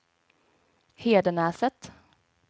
Hedenäset